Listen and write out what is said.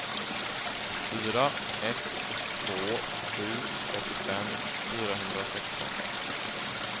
fyra ett två sju trettiofem fyrahundrasexton